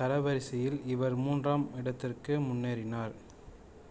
தரவரிசையில் இவர் மூன்றாம் இடத்திற்கு முன்னேறினார்